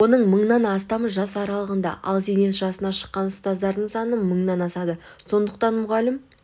оның мыңнан астамы жас аралығында ал зейнет жасына шыққан ұстаздардың саны мыңнан асады сондықтан мұғалім